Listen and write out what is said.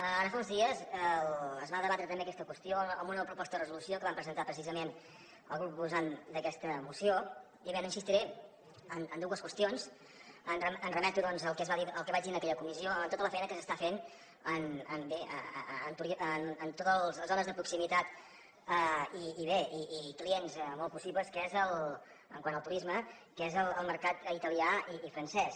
ara fa uns dies es va debatre també aquesta qüestió en una proposta de resolució que van presentar precisament el grup proposant d’aquesta moció i bé no insistiré en dues qüestions em remeto al que vaig dir en aquella comissió a tota la feina que s’està fent bé en totes les zones de proximitat i bé clients molt possibles quant al turisme que és el mercat italià i el francès